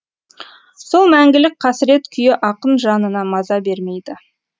сол мәңгілік қасірет күйі ақын жанына маза бермейді